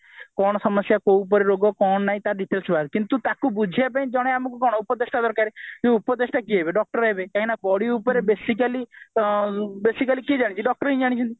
କଉ ସମସ୍ୟା କଉ ପରି ରୋଗ କଣ ନାଇଁ ତା details ବାହାରେ କିନ୍ତୁ ଟାକୁ ବୁଝେଇବା ପାଇଁ ଜଣେ ଆମକୁ କଣ ଉପଦେଶ ଦେବା ଦରକାର ଯେ ଉପଦେଶ ଟା କିଏ ହେବେ doctor ହେବେ body ଉପରେ basically basically କିଏ doctor ହିଁ ଜାଣିଛି